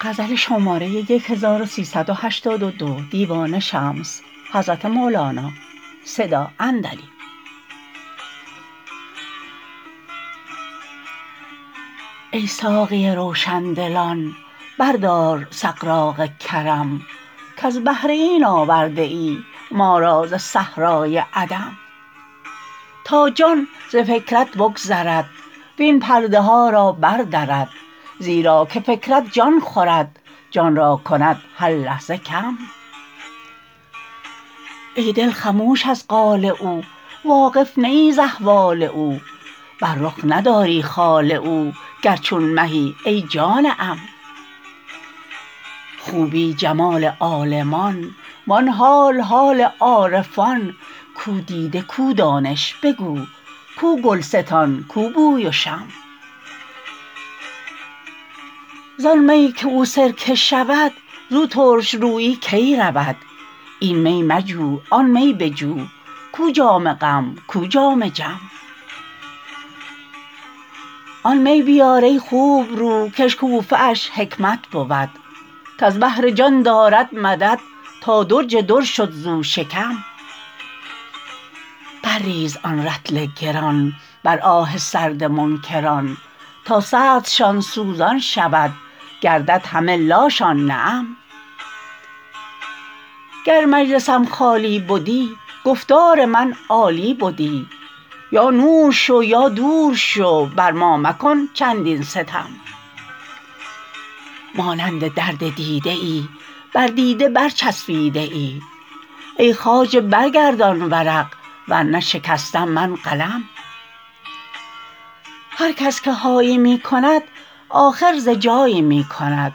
ای ساقی روشن دلان بردار سغراق کرم کز بهر این آورده ای ما را ز صحرای عدم تا جان ز فکرت بگذرد وین پرده ها را بردرد زیرا که فکرت جان خورد جان را کند هر لحظه کم ای دل خموش از قال او واقف نه ای ز احوال او بر رخ نداری خال او گر چون مهی ای جان عم خوبی جمال عالمان وان حال حال عارفان کو دیده کو دانش بگو کو گلستان کو بوی و شم زان می که او سرکه شود زو ترش رویی کی رود این می مجو آن می بجو کو جام غم کو جام جم آن می بیار ای خوبرو کاشکوفه اش حکمت بود کز بحر جان دارد مدد تا درج در شد زو شکم بر ریز آن رطل گران بر آه سرد منکران تا سردشان سوزان شود گردد همه لاشان نعم گر مجلسم خالی بدی گفتار من عالی بدی یا نور شو یا دور شو بر ما مکن چندین ستم مانند درد دیده ای بر دیده برچفسیده ای ای خواجه برگردان ورق ور نه شکستم من قلم هر کس که هایی می کند آخر ز جایی می کند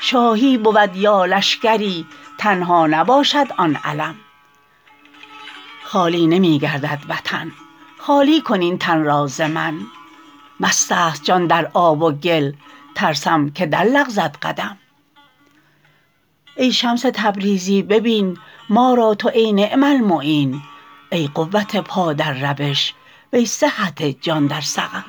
شاهی بود یا لشکری تنها نباشد آن علم خالی نمی گردد وطن خالی کن این تن را ز من مستست جان در آب و گل ترسم که درلغزد قدم ای شمس تبریزی ببین ما را تو این نعم المعین ای قوت پا در روش وی صحت جان در سقم